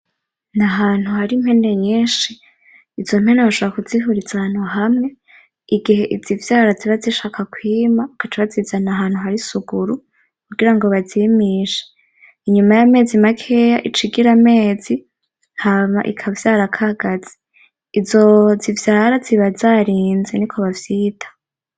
N'ahantu hari impene nyinshi, izo mpene bashobora kuzihuriza ahantu hamwe igihe izivyara ziba zishaka kwima, bagaca bazizana ahantu hari isuguru kugira ngo bazimishe, inyuma y'amezi makeya ic'igira amezi, hama ikavyara akagazi. Izo zivyara ziba zarinze niko bavyita.